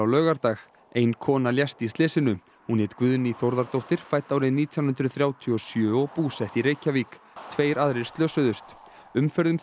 laugardag ein kona lést í slysinu hún hét Guðný Þórðardóttir fædd árið nítján hundruð þrjátíu og sjö og búsett í Reykjavík tveir aðrir slösuðust umferð um